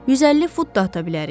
150 fut da ata bilərik.